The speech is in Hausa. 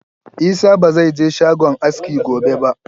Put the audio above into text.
Isah ba zai je shagon aski gobe ba!